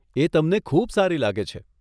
એ તમને ખૂબ સારી લાગે છે.